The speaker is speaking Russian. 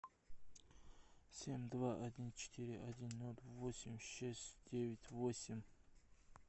семь два один четыре один ноль восемь шесть девять восемь